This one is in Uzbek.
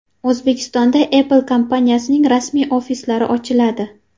O‘zbekistonda Apple kompaniyasining rasmiy ofislari ochiladi.